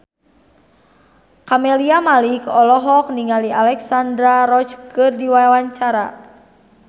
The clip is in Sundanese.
Camelia Malik olohok ningali Alexandra Roach keur diwawancara